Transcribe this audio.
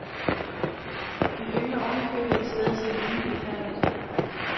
De yngler oven i købet et sted, som er rimeligt befærdet.